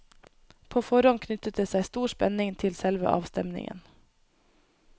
På forhånd knyttet det seg stor spenning til selve avstemningen.